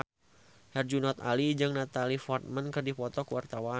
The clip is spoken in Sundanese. Herjunot Ali jeung Natalie Portman keur dipoto ku wartawan